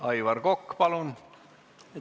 Aivar Kokk, palun!